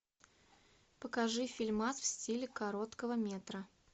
покажи фильмас в стиле короткого метра